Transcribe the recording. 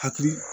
Hakili